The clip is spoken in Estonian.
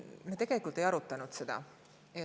Me tegelikult ei arutanud seda.